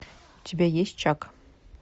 у тебя есть чак